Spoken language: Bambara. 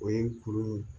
O ye kuru in ye